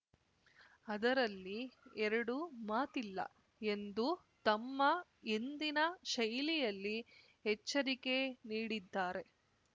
ಅದರಲ್ಲಿ ಎರಡು ಮಾತಿಲ್ಲ ಎಂದು ತಮ್ಮ ಎಂದಿನ ಶೈಲಿಯಲ್ಲಿ ಎಚ್ಚರಿಕೆ ನೀಡಿದ್ದಾರೆ